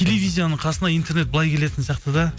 телевизияның қасына интернет былай келетін сияқты да